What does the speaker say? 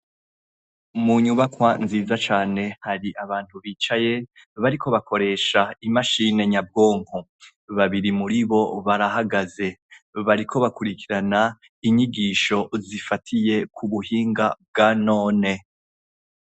Munyubakwa nziza cane hari abantu bicaye bariko bakoresha imashine nyabwonko babiri muribo barahagaze bariko bakurikirana inyigisho zifatiye ku buhinga bwa none.